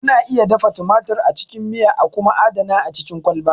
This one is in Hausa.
Kuna iya dafa tumatir a cikin miya a kuma adana a cikin kwalba.